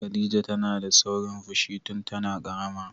Khadija tana da saurin fushi tun tana ƙarama.